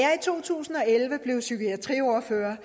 to tusind og elleve blev psykiatriordfører